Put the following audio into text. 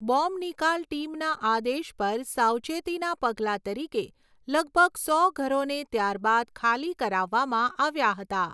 Bomb નિકાલ ટીમના આદેશ પર સાવચેતીના પગલા તરીકે લગભગ સો ઘરોને ત્યારબાદ ખાલી કરાવવામાં આવ્યાં હતાં.